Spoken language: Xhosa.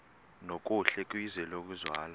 nokuhle kwizwe lokuzalwa